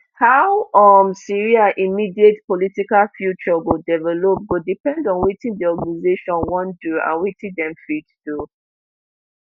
how um syria immediate political future go develop go depend on wetin di organisation wan do and wetin dem fit do